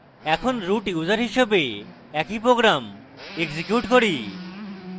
এখন root user হিসাবে একই program execute করি